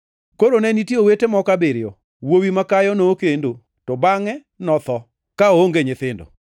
Koro ne nitie owete moko abiriyo. Wuowi makayo nokendo to bangʼe notho ka oonge nyithindo.